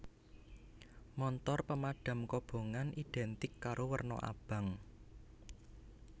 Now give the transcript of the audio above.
Montor pemadam kobongan identik karo werna abang